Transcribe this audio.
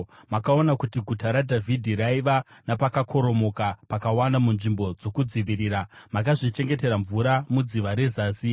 makaona kuti Guta raDhavhidhi raiva napakakoromoka pakawanda munzvimbo dzokudzivirira; makazvichengetera mvura muDziva reZasi.